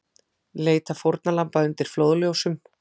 Leita fórnarlamba undir flóðljósum